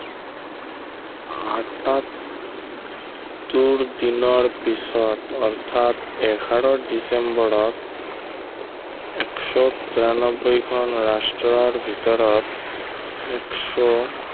পয়সত্তৰ দিনৰ পিছত অৰ্থাৎ এঘাৰ ডিচেম্বৰত এশ তিৰানব্বৈ খন ৰাষ্ট্ৰৰ ভিতৰত এশ